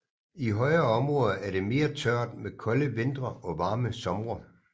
I højere områder er det mere tørt med kolde vintre og varme somre